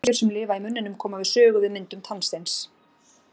Bakteríur sem lifa í munninum koma við sögu við myndum tannsteins.